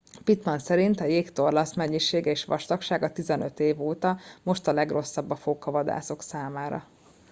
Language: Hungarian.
pittman szerint a jégtorlasz mennyisége és vastagsága 15 év óta most a legrosszabb a fókavadászok számára